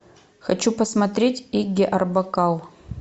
хочу посмотреть игги арбакл